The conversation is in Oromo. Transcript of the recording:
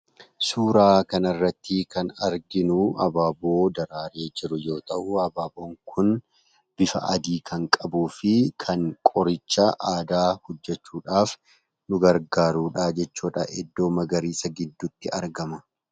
Suuraa kanarratti kan arginu abaaboo daraaree jiru yoo ta'u abaaboon kun bifa adii kan qabuufi kan qoricha aadaa hojjechuudhaaf nu gargaarudha jechuudha. Iddoo magariisa gidduutti argama.